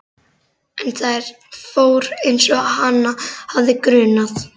En það fór einsog hana hafði grunað.